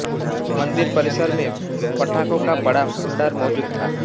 मंदिर परिसर में पटाखों का बड़ा भंडार मौजूद था